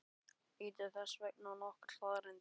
Lítum þess vegna á nokkrar staðreyndir.